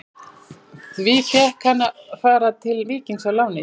Því fékk hann að fara til Víkings á láni.